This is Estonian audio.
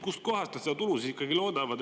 Kust kohast nad seda tulu siis ikkagi loodavad?